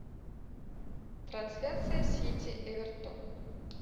трансляция сити эвертон